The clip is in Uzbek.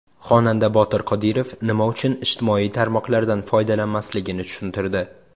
Xonanda Botir Qodirov nima uchun ijtimoiy tarmoqlardan foydalanmasligini tushuntirdi.